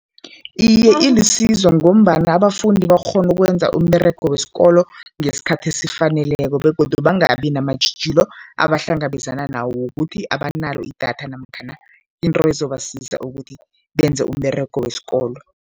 Iye, ilisizo ngombana abafundi bakghona ukwenza umberego wesikolo ngesikhathi esifaneleko begodu bangabi namatjhijilo abahlangabezana nawo wokuthi abanalo idatha namkhana into ezobasiza ukuthi benze umberego wesikolo.